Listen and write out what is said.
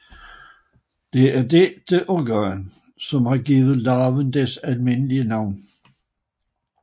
Det er dette organ som har givet larven dets almindelige navn